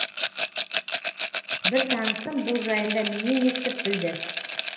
бір танысым бұл жайында менен естіп білді